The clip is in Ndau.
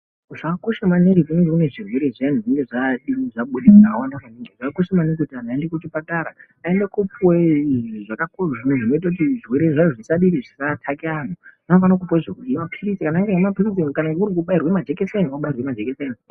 Zvakakosha maningi kunge unezvirwere zviyani zvakakosha maningi kuti vanhu vaende kuchipatara vaende kopuwa zvinoita kuti zvirwere vavozviyani zvisaataka antu dai mapilizi daillkubairwa majekiseni kubairwa majikiseni.